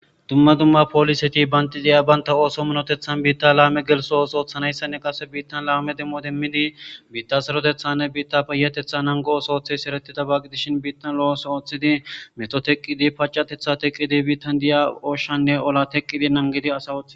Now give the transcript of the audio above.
Dumma dumma pooliseti bandidiya baynta ooso minotethan biitta la'ame gelso ooso oothanayssanne qase biittan laame demmo demmidi biitta serotethanne biitta payatetha nangooso ooththi sereti tabagi dishin biittan lo'ooso ooththidi meto teqqidi pacatetha teqqidi biittan diya oshanne ola teqqidi nangidi asa wothi.